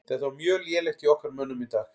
Þetta var mjög lélegt hjá okkar mönnum í dag.